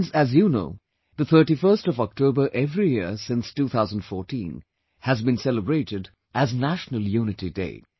Friends, as you know that 31st October every year since 2014 has been celebrated as 'National Unity Day'